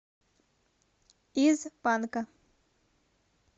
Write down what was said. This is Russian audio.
из панка